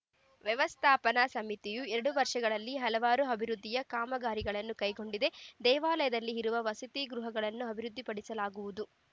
ವ್ಯವಸ್ಥಾಪನ ಸಮಿತಿಯು ಎರಡು ವರ್ಷಗಳಲ್ಲಿ ಹಲವಾರು ಅಭಿವೃದ್ಧಿ ಕಾಮಗಾರಿಗಳನ್ನು ಕೈಗೊಂಡಿದೆ ದೇವಾಲಯದಲ್ಲಿ ಇರುವ ವಸತಿ ಗೃಹಗಳನ್ನು ಅಭಿವೃದ್ಧಿಪಡಿಸಲಾಗುವುದು